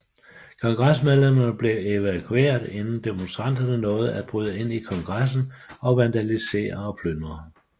Kongresmedlemmerne blev evakueret inden demonstranterne nåede at bryde ind i Kongressen og vandalisere og plyndre